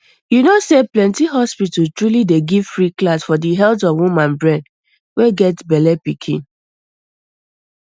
you know say plenty hospitals truly dey give free class for di health of woman brain wey get bellepikin